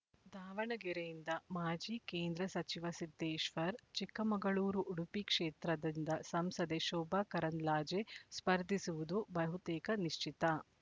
ದಾವಣಗೆರೆಯಿಂದ ಮಾಜಿ ಕೇಂದ್ರ ಸಚಿವ ಸಿದ್ದೇಶ್ವರ್ ಚಿಕ್ಕಮಗಳೂರು ಉಡುಪಿ ಕ್ಷೇತ್ರದಿಂದ ಸಂಸದೆ ಶೋಭಾಕರಂದ್ಲಾಜೆ ಸ್ಪರ್ಧಿಸುವುದು ಬಹುತೇಕ ನಿಶ್ಚಿತ